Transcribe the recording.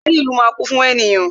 Ààrin ìlú máa kún fún ènìyàn